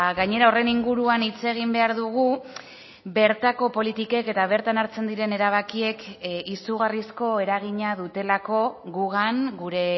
gainera horren inguruan hitz egin behar dugu bertako politikek eta bertan hartzen diren erabakiek izugarrizko eragina dutelako gugan gure